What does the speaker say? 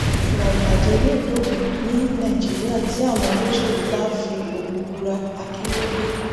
ìwà ìbàjẹ yóò dópin ní nàìjíríà tí àwọn olóṣèlú bá ń fi ogun búra akínyòòye